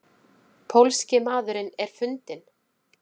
Pólski maðurinn er fundinn?